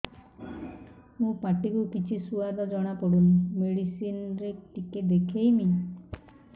ମୋ ପାଟି କୁ କିଛି ସୁଆଦ ଜଣାପଡ଼ୁନି ମେଡିସିନ ରେ ଟିକେ ଦେଖେଇମି